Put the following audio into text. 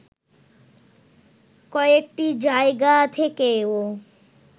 কয়েকটি জায়গা থেকেও